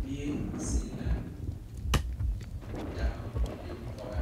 Biire zeŋ la dao neŋ pɔgɔ